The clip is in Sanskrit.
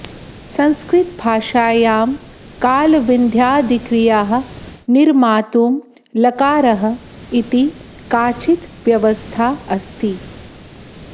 संस्कृतभाषायां कालविध्यादिक्रियाः निर्मातुं लकारः इति काचित् व्यवस्था अस्ति